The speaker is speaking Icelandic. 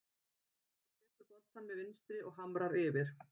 Hann tekur boltann með vinstri og hamrar yfir.